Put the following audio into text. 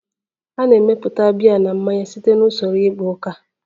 A na-emepụta biya na mmanya site na usoro igba uka